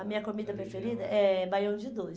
A minha comida preferida é baião de dois.